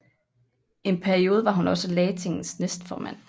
En periode var hun også Lagtingets næstformand